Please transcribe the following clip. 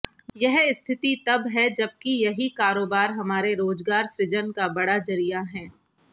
यह स्थिति तब है जबकि यही कारोबार हमारे रोजगार सृजन का बड़ा जरिया हैं